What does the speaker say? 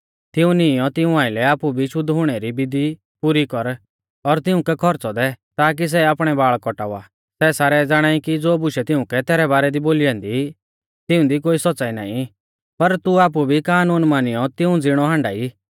तिऊं नीईंयौ तिऊं आइलै आपु भी शुद्ध हुणै री विधी पुरी कर और तिउंकै खौरच़ौ दै ताकी सै आपणै बाल़ कौटावा तैबै सारै ज़ाणाई कि ज़ो बुशै तिउंकै तैरै बारै दी बोली ऐन्दी तिऊंदी कोई सौच़्च़ाई नाईं आ पर तू आपु भी कानून मानियौ तिऊं ज़िणौ हाण्डा ई